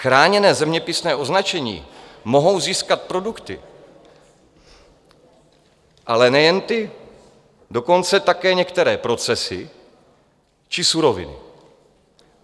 Chráněné zeměpisné označení mohou získat produkty, ale nejen ty, dokonce také některé procesy či suroviny.